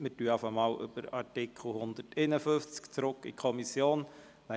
Wir stimmen vorerst über Artikel 151 und die Rückweisung an die Kommission ab.